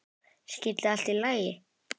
Skyldi allt í lagi?